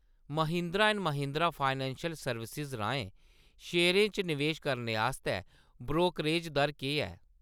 Mahindra and Mahindra financial services राहें शेयरें च नवेश करने आस्तै ब्रोकरेज दर केह् ऐ ?